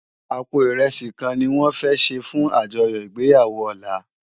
Àpó irèsí kán niwòn fè sé fún ájòyò igbéyàwó òlá